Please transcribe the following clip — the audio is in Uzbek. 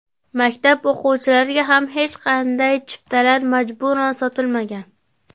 Maktab o‘qituvchilariga ham hech qanday chiptalar majburan sotilmagan.